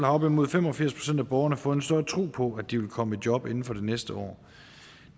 op imod fem og firs procent af borgerne fået større tro på at de vil komme i job inden for næste år